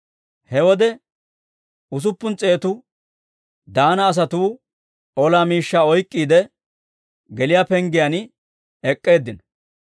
He wode usuppun s'eetu Daana asatuu ola miishshaa oyk'k'iide, geliyaa penggiyaan ek'k'eeddinno.